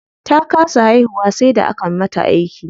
Ta kasa haihuwa sai da aka mata aiki.